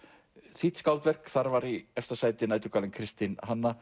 þýdd skáldverk þar var í efsta sæti næturgalinn Kristin